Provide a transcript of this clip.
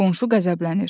Qonşu qəzəblənir.